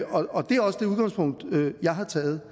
jeg har taget